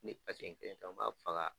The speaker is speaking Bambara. Ne paseten ton n b'a faga.